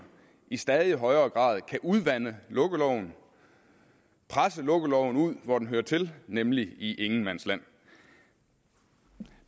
i stadig højere grad kan udvande lukkeloven og presse lukkeloven ud hvor den hører til nemlig i ingenmandsland